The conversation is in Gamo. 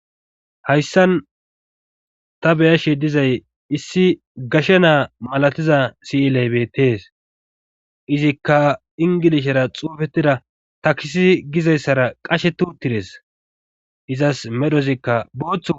hayssan ta beyashe dizay issi gashe naa malatiza siyiley beettees izikka ingilishera xoofetida takisi gizayssara qashe turtides izas medhozikka booththu